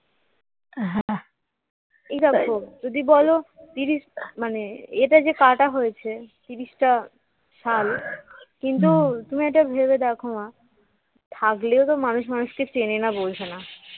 এই দেখো যদি বলো তিরিশ মানে এটা যে কাটা হয়েছে ত্রিশটা সাল কিন্তু তুমি এটা ভেবে দেখো মা থাকলেও তো মানুষ মানুষকে চেনে না বোঝেনা